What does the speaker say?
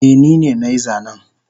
Eh nine nai zanen